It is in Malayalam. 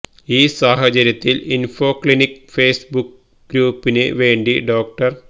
ഈ സാഹചര്യത്തില് ഇന്ഫോ ക്ലിനിക്ക് ഫേസ്ബുക്ക് ഗ്രൂപ്പിന് വേണ്ടി ഡോ